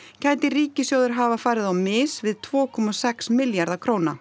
gæti ríkissjóður hafa farið á mis við tvö komma sex milljarða króna